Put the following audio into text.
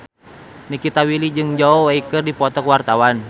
Nikita Willy jeung Zhao Wei keur dipoto ku wartawan